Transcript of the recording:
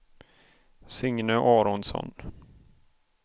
Signe Aronsson